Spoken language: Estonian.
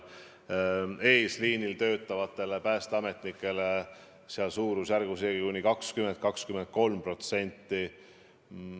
Eesliinil töötavate päästeametnike palk on tõusnud kuni 20–23%.